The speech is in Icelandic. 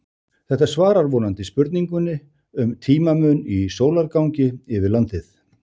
Þetta svarar vonandi spurningunni um tímamun í sólargangi yfir landið.